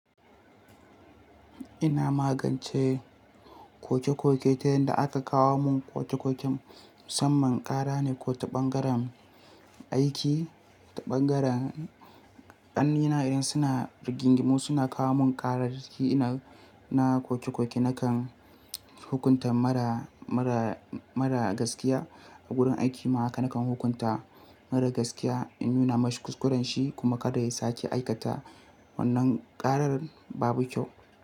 Ina magance koke-koke ta hanyar da aka kawo mun koke-koken musamman ƙara ne ko ta ɓangaren aiki, ta ɓangaren ƙan'nina idan suna rigingimu suna kawo mun ƙarar da shi ina na koke-koke nakan hukunta mara, mara, mara gaskiya a gurin aiki mahaka nakan hukunta mara gaskiya in nuna mashi kuskuren shi kuma kada ya sake aikata wannan ƙarar babu kyau.